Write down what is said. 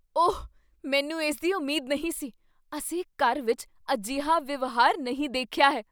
ਓਹ, ਮੈਨੂੰ ਇਸ ਦੀ ਉਮੀਦ ਨਹੀਂ ਸੀ। ਅਸੀਂ ਘਰ ਵਿੱਚ ਅਜਿਹਾ ਵਿਵਹਾਰ ਨਹੀਂ ਦੇਖਿਆ ਹੈ।